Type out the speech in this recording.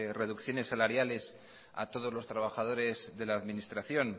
reducciones salariales a todos los trabajadores de la administración